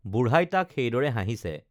বুঢ়াই তাক সেইদৰে হাঁহিছে